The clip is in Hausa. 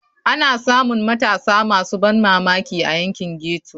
Ana samun matasa masu ban mamaki a yankin ghetto.